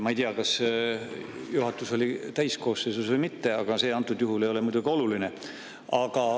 Ma ei tea, kas juhatus oli täiskoosseisus või mitte, ehkki see antud juhul ei ole muidugi oluline.